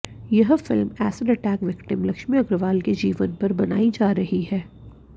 यह film acid attack victim Laxmi Agarwal के जीवन पर बनाई जा रही है